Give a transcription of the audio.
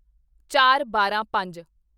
ਚਾਰਬਾਰਾਂਪੰਜ